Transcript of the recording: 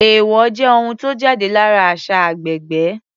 Èèwọ̀ jẹ́ ohun tó jáde lára àṣà agbègbè.